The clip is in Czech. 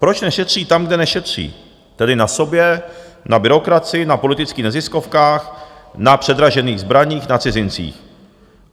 Proč nešetří tam, kde nešetří, tedy na sobě, na byrokracii, na politických neziskovkách, na předražených zbraních, na cizincích.